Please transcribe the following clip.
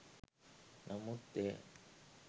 නමුත් එය